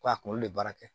Ko a kunkolo de baara kɛ